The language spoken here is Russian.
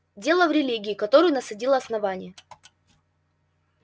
дело в религии которую насадило основание